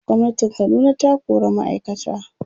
gwamnatin Kaduna ta kora ma'aikata